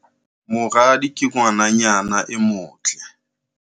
Moradi ke ngwananyana e motle.